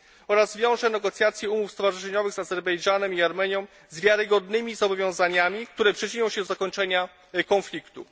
oraz wiąże negocjacje umów stowarzyszeniowych z Azerbejdżanem i Armenią z wiarygodnymi zobowiązaniami, które przyczynią się do zakończenia konfliktu.